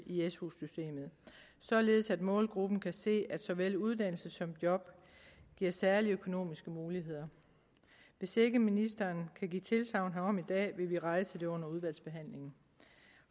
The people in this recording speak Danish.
i su systemet således at målgruppen kan se at såvel uddannelse som job giver særlige økonomiske muligheder hvis ikke ministeren kan give tilsagn herom i dag vil vi rejse det under udvalgsbehandlingen